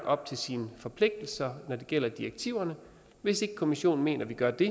op til sine forpligtelser når det gælder direktiverne hvis ikke kommissionen mener at vi gør det